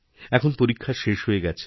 এখন পরীক্ষা শেষ হয়ে গেছে